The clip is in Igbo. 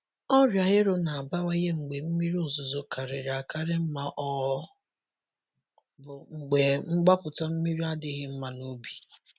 Ọrịa ero na-abawanye mgbe mmiri ozuzo karịrị akarị ma ọ bụ mgbe mgbapụta mmiri adịghị mma n’ubi.